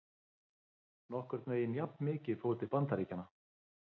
Nokkurn veginn jafnmikið fór til Bandaríkjanna.